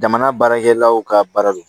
Jamana baarakɛlaw ka baara don